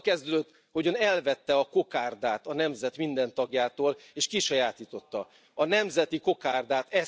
Ez azzal kezdődött, hogy Ön elvette a kokárdát a nemzet minden tagjától, és kisajátította a nemzeti kokárdát.